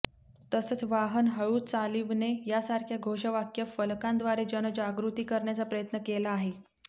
तसंच वाहन हळू चालिवणे यासारख्या घोषवाक्य फलकांद्वारे जनजागृती करण्याचा प्रयत्न केला आहे